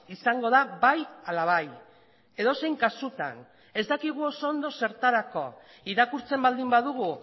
izango da bai ala bai edozein kasutan ez dakigu oso ondo zertarako irakurtzen baldin badugu